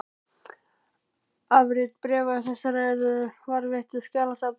Afrit bréfa þessara eru varðveitt í skjalasafni Háskólans.